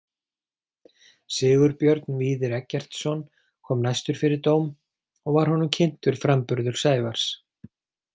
Sigurbjörn Víðir Eggertsson kom næstur fyrir dóm og var honum kynntur framburður Sævars.